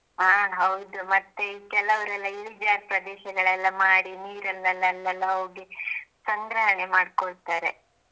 ಹಾಂ ಹೌದು ಮತ್ತೆ ಕೆಲವರೆಲ್ಲ ಇಳಿಜಾರ ಪ್ರದೇಶಗಳೆಲ್ಲ ಮಾಡಿ ನೀರು ಅಲ್ಲಲ್ಲಿ ಎಲ್ಲಾ ಹೋಗಿ ಸಂಗ್ರಹಣೆ ಮಾಡಿಕೊಳ್ತಾರೆ.